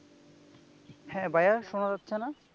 হ্যা ভাইয়া শুনা যাচ্ছে না?